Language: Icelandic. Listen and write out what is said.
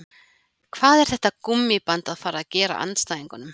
Hvað er þetta gúmmíband að fara að gera andstæðingunum?